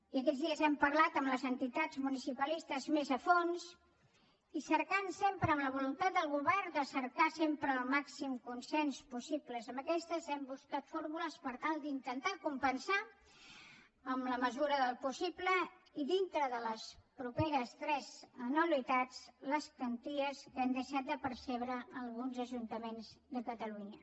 i aquests dies hem parlat amb les entitats municipalistes més a fons i amb la voluntat del govern de cercar sempre el màxim consens possible amb aquestes hem buscat fórmules per tal d’intentar compensar en la mesura del possible i dintre de les properes tres anualitats les quanties que han deixat de percebre alguns ajuntaments de catalunya